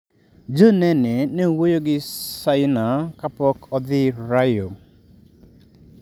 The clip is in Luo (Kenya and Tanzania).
John Nene ne owuoyo gi Saina kapok odhi Rio.